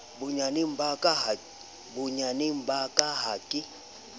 bonyaneng ba ka ha ke